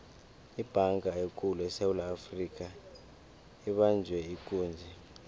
ibhanga ekulu esewula afrika ibanjwe ikunzi